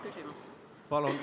Ei olnud.